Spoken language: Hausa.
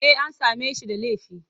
Eh an same shi da laifi.